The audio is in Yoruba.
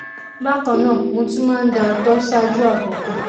bákan náà mo tún máa ń da ààtọ̀ ṣáájú àkókò